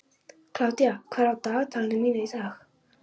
Kládía, hvað er í dagatalinu mínu í dag?